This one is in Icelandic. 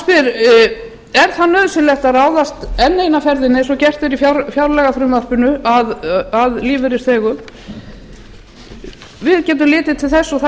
maður spyr er nauðsynlegt að ráðast að lífeyrisþegum enn eina ferðina eins og gert er í fjárlagafrumvarpinu við getum litið til þess og það